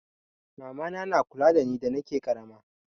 Mama na ta kula da ni da nake ƙarama